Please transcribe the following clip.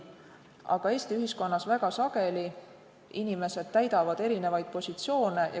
Aga Eesti ühiskonnas täidavad samad inimesed väga sageli erinevaid positsioone.